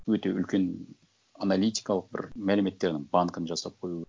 өте үлкен аналитикалық бір мәліметтерінің банкін жасап қою